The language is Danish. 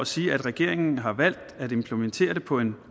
sige at regeringen har valgt at implementere det på en